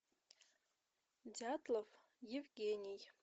дятлов евгений